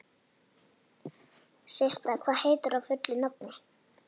Systa, hvað heitir þú fullu nafni?